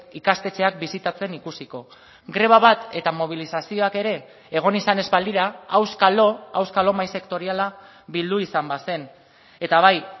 ikastetxeak bisitatzen ikusiko greba bat eta mobilizazioak ere egon izan ez balira auskalo auskalo mahai sektoriala bildu izan bazen eta bai